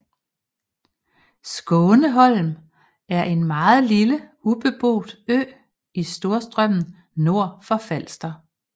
Skåneholm er en meget lille ubeboet ø i Storstrømmen nord for Falster